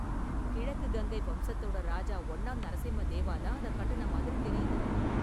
கிழக்கு கங்கை வம்சத்தோட ராஜா ஒன்னாம் நரசிம்மதேவா தான் அதை கட்டுன மாதிரி தெரியுது.